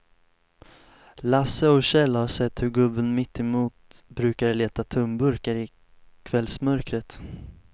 Lasse och Kjell har sett hur gubben mittemot brukar leta tomburkar i kvällsmörkret.